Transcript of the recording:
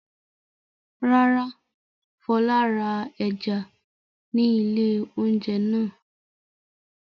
Rárá, Fọlá ra ẹja ní ilé-oúnjẹ náà.